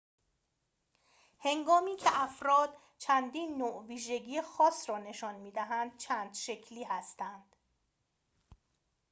هنگامی که افراد چندین نوع ویژگی خاص را نشان می دهند چند شکلی هستند